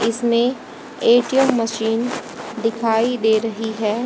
इसमें A T M machine दिखाई दे रही है।